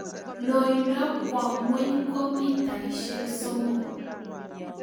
loindo kwa ng'weny ko mitaishek somok